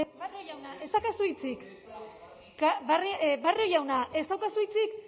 barrio jauna ez daukazu hitzik barrio jaunak ez daukazu hitzik